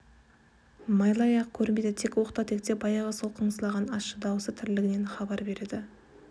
майлыаяқ көрінбейді тек оқта-текте баяғы сол қыңсылаған ащы даусы тірілігінен хабар береді